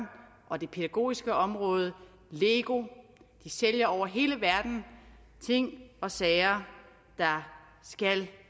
og det pædagogiske område lego de sælger over hele verden ting og sager der skal